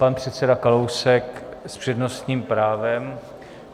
Pan předseda Kalousek s přednostním právem.